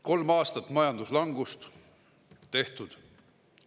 Kolm aastat majanduslangust – tehtud.